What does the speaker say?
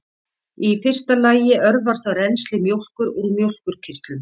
í fyrsta lagi örvar það rennsli mjólkur úr mjólkurkirtlum